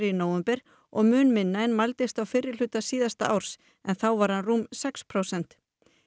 í nóvember og mun minna en hann mældist á fyrri hluta síðasta árs en þá var hann rúm sex prósent